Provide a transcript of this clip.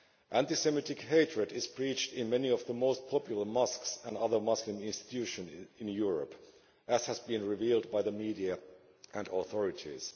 Anti Semitic hatred is preached in many of the most popular mosques and other Muslim institutions in Europe, as has been revealed by the media and the authorities.